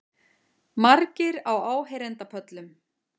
Margir á áheyrendapöllum